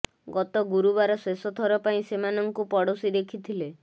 ଗତ ଗୁରୁବାର ଶେଷ ଥର ପାଇଁ ସେମାନଙ୍କୁ ପଡୋଶୀ ଦେଖିଥିଲେ